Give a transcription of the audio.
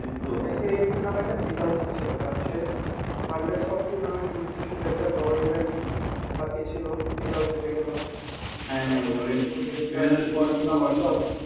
মেসির এই tournament টা জিতা উচিৎ ছিল কারণ সে world এর সব tournament জিতছে শুধূ একটা বড় event বাকি ছিল এটাও জিতে গেল